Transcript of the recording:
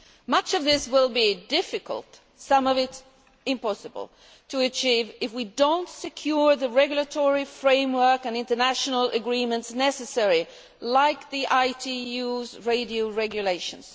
Much of this will be difficult, some of it impossible, to achieve if we do not secure the regulatory framework and international agreements necessary, like the ITU's radio regulations.